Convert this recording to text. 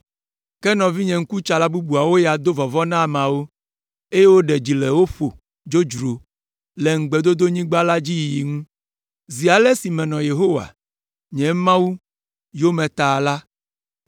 ke nɔvinye ŋkutsala bubuawo ya do vɔvɔ̃ na ameawo, eye woɖe dzi le wo ƒo dzodzro le Ŋugbedodonyigba la dzi yiyi ŋu. Zi ale si menɔ Yehowa, nye Mawu, yome ta la,